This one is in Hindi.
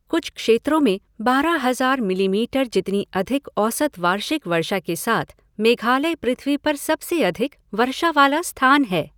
कुछ क्षेत्रों में बारह हज़ार मिलीमीटर जितनी अधिक औसत वार्षिक वर्षा के साथ मेघालय पृथ्वी पर सबसे अधिक वर्षा वाला स्थान है।